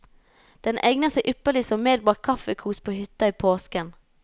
Den egner seg ypperlig som medbragt kaffekos på hytta i påsken.